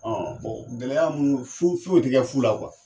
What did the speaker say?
Ɔ bɔn gɛlɛya munu fo foyi ti kɛ fu la